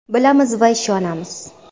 Bilamiz va ishonamiz.